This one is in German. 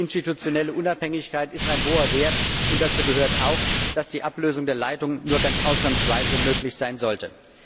Die institutionelle Unabhängigkeit ist ein hoher Wert, und dazu gehört auch, dass die Ablösung der Leitung nur ausnahmsweise möglich sein sollte.